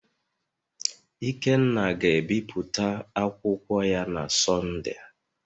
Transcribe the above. ikenna ga-ebipụta akwụkwọ ya na Sọnde